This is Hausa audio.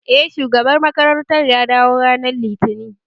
Eh, shugaban makarantar ya dawo ranar Litinin